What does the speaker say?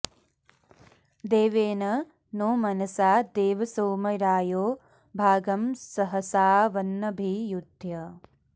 देवेन नो मनसा देव सोम रायो भागं सहसावन्नभि युध्य